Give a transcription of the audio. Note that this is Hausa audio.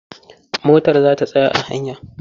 Motar za ta tsaya a hanya.